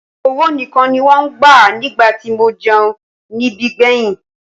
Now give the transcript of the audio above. Owó nìkan ni wọ́n ń gbà nígbà tí mo jẹun níbí gbẹ̀yìn.